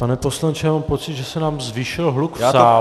Pane poslanče, já mám pocit, že se nám zvýšil hluk v sále.